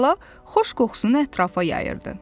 Tala xoş qoxusunu ətrafa yayırdı.